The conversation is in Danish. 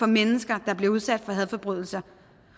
mennesker der bliver udsat for hadforbrydelser